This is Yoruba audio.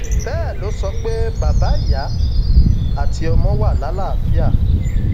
bẹẹ ló sọ pé bàbá ìyá àti ọmọ wà lálàáfíà